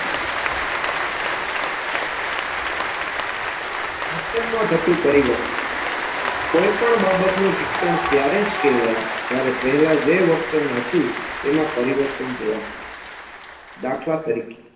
વર્તનમાં થતુ પરિવર્તન કોઈપણ બાબતનુંં શિક્ષણ ત્યારે જ કહેવાય જ્યારે પહેલા જે વર્તન હતુ એમાં પરિવર્તન જોવા મળે દાખલા તરીકે